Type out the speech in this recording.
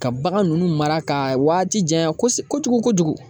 Ka bagan nunnu mara ka waati janya kosɛ kojugu kojugu.